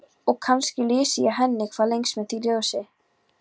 Og kannski lýsi ég henni hvað lengst með því ljósi.